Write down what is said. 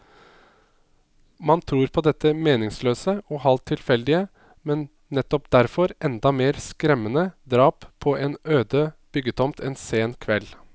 Man tror på dette meningsløse og halvt tilfeldige, men nettopp derfor enda mer skremmende drap på en øde byggetomt en sen kveld.